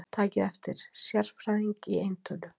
Takið eftir: Sérfræðing í eintölu.